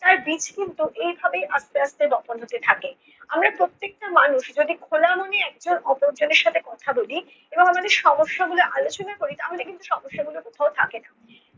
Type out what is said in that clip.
তার বীজ কিন্তু এইভাবেই আস্তে আস্তে বপন হতে থাকে। আমরা প্রত্যেকটা মানুষ যদি খোলা মনে একজন অপর জনের সাথে কথা বলি এবং আমাদের সমস্যাগুলি আলোচনা করি তাহলে কিন্তু সমস্যাগুলি কোথাও থাকে না।